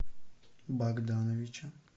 богдановича